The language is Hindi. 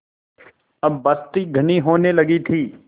अब बस्ती घनी होने लगी थी